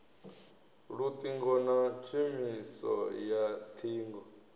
luṱingo na tshumiso ya ṱhingo